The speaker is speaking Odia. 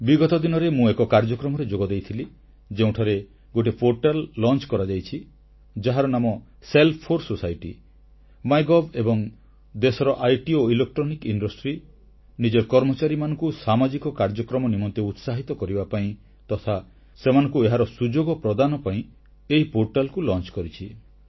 ବିଗତ ଦିନରେ ମୁଁ ଏକ କାର୍ଯ୍ୟକ୍ରମରେ ଯୋଗଦେଇଥିଲି ଯେଉଁଠାରେ ଗୋଟିଏ ପୋର୍ଟାଲ ଶୁଭାରମ୍ଭ କରାଯାଇଛି ଯାହାର ନାମ ସେଲ୍ଫ 4 ସୋସାଇଟି ମାଇଗଭ ଏବଂ ଦେଶର ଆଇଟି ଓ ଇଲେକ୍ଟ୍ରୋନିକ ଶିଳ୍ପ ନିଜର କର୍ମଚାରୀମାନଙ୍କୁ ସାମାଜିକ କାର୍ଯ୍ୟକ୍ରମ ନିମନ୍ତେ ଉତ୍ସାହିତ କରିବା ପାଇଁ ତଥା ସେମାନଙ୍କୁ ଏହାର ସୁଯୋଗ ପ୍ରଦାନ ପାଇଁ ଏହି ପୋର୍ଟାଲକୁ ଶୁଭାରମ୍ଭ କରିଛି